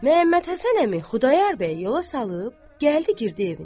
Məhəmmədhəsən əmi Xudayar bəyi yola salıb, gəldi girdi evinə.